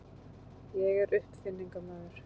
Ég er uppfinningamaður.